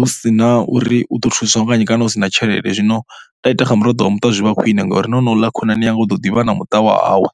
hu si na uri u ḓo thuswa nga nnyi kana hu si na tshelede. Zwino nda ita kha muraḓo wa muṱa zwi vha zwi khwine ngauri na honouḽa khonani yanga u ḓo ḓivha na muṱa wa hawe.